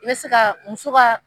N bɛ se ka muso ka